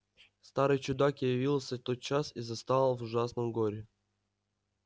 старый чудак явился тотчас и застал в ужасном горе